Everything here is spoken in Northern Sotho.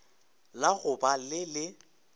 la go ba le le